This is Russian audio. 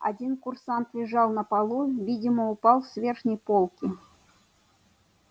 один курсант лежал на полу видимо упал с верхней полки